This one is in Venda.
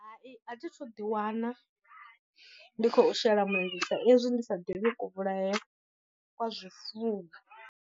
Hai a thi thu ḓi wana ndi khou shela mulenzhe sa ezwi ndi sa ḓivhi ku vhulayele kwa zwifuwo.